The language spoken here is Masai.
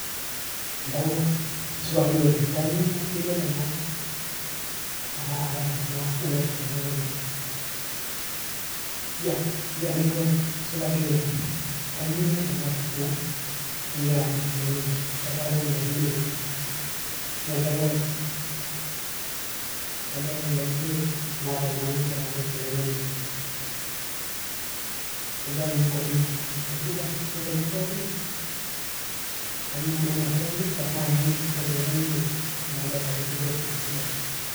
Entawuo, supa dii oleng, kanyoo imir ena ena toki ino nimirita tene wueji, iyia iyia entawuo ai, supa dii oleng, kanyoo imir ena toki ino nigira amir tene wueji, kebaa iropiani nipik, iyia entawuo ai, kebaa iropiani enatoki ino nigira amir tenewueji, kejaa ninye enkop inyi? Aisidan, keserian pookin? Kanyoo, amaa ena kiteng' nimirta, iropiani aja ipik amu kadolita ajo kepir naa sidai?